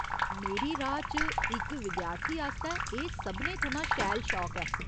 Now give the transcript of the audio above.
मेरी राऽ च, इक विद्यार्थी आस्तै एह् सभनें थमां शैल शौक ऐ।